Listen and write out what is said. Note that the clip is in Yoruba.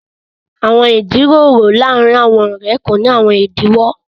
Àwọn ìjíròrò làárìn àwọn ọ̀rẹ̀ kò ní àwọn ìdíwọ̀n.